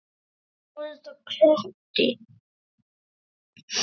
Og þú varst krati.